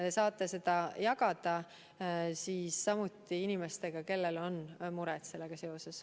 Teie saate samuti seda jagada inimestega, kellel on mure sellega seoses.